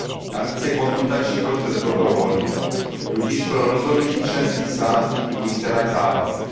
Navíc je konzultační proces dobrovolný, tudíž pro rozhodnutí členských států nikterak závazný.